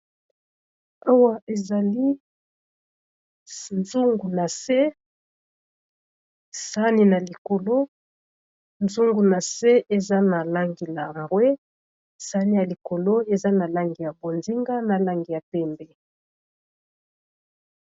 Awa ezali nzungu na se sani na likolo zungu na se eza na langi ya rwe sani ya likolo eza na langi ya bonzinga, na langi ya pembe.